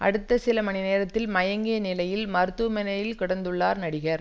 அடுத்த சில மணி நேரத்தில் மயங்கிய நிலையில் மருத்துவமனையில் கிடந்துள்ளார் நடிகர்